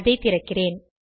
அதை திறக்கிறேன்